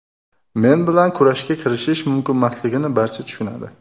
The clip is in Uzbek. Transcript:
Men bilan kurashga kirishish mumkinmasligini barcha tushunadi.